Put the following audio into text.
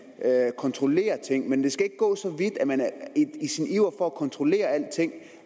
kontrollere ting men det skal ikke gå så vidt at man i sin iver for at kontrollere alting